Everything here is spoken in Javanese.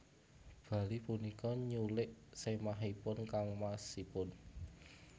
Bali punika nyulik sèmahipun kangmasipun